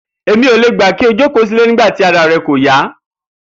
Èmi ò lè gbà pé kó o jókòó sílé nigba tí ara re̩ kò yá